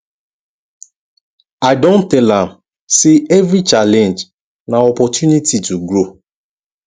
i don tell am sey every challenge na opportunity to grow